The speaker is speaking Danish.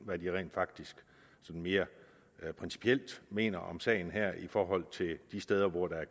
hvad de rent faktisk sådan mere principielt mener om sagen her i forhold til de steder hvor der er